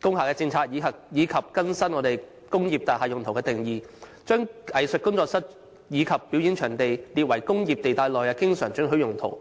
工廈政策及更新"工業大廈用途"的定義，把"藝術工作室及表演場地"列為工業地帶內的經常准許用途。